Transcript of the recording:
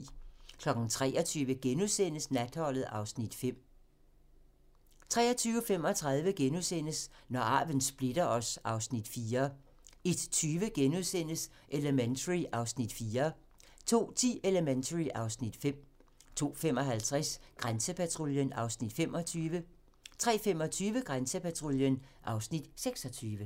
23:00: Natholdet (Afs. 5)* 23:35: Når arven splitter os (Afs. 4)* 01:20: Elementary (Afs. 4)* 02:10: Elementary (Afs. 5) 02:55: Grænsepatruljen (Afs. 25) 03:25: Grænsepatruljen (Afs. 26)